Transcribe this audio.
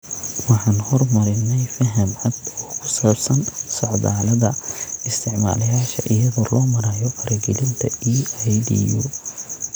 Waxaan horumarinay faham cad oo ku saabsan socdaalada isticmaalayaasha iyada oo loo marayo faragelinta EIDU.